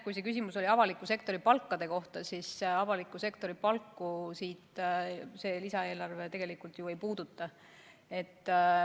Kui see küsimus oli avaliku sektori palkade kohta, siis täpsustan, et avaliku sektori palku see lisaeelarve tegelikult ju ei puuduta.